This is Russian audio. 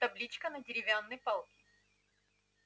табличка на деревянной палке